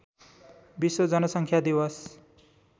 विश्व जनसङ्ख्या दिवस